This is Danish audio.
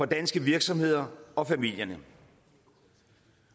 danske virksomheder og familierne